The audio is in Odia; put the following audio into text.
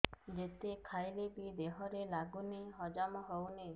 ଯେତେ ଖାଇଲେ ବି ଦେହରେ ଲାଗୁନି ହଜମ ହଉନି